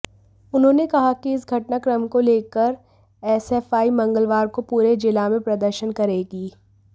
उन्होंने कहा कि इस घटनाक्रम को लेकर एसएफआई मंगलवार को पूरे जिला में प्रदर्शन करेगी